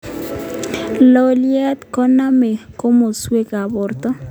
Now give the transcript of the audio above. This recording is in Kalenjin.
Loliot koname komaswek ab borto